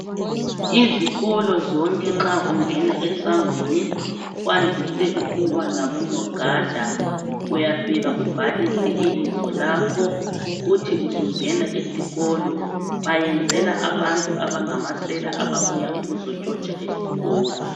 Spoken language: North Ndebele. Izikolo zonke nxa ungena esangweni , kwandise ukuba labonogada, uyafika ubhalise ibizo lakho, uthi usungena esikolo. Bayenzela abantu abangamasela ababuya ukuzontshontsha esikolo